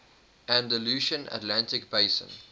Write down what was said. andalusian atlantic basin